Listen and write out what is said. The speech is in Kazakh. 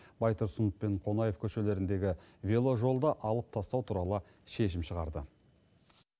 байтұрсынов мен қонаев көшелеріндегі веложолды алып тастау туралы шешім шығарды